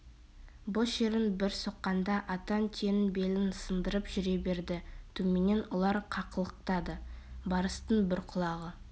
бұ шерің бір соққанда атан түйенің белін сындырып жүре береді төменнен ұлар қақылықтады барыстың бір құлағы